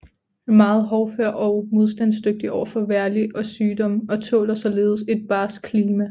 Er meget hårdfør og modstandsdygtig over for vejrlig og sygdomme og tåler således et barskt klima